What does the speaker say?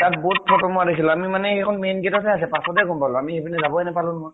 তাত বহুত photo মাৰা দেখিলো । আমি মানে, সেই দোখৰ main gate ত হে আছিলে, পাছত গʼম দেখিলো । আমি সেইপিনে যাবয়ে নাপালো নহয় ।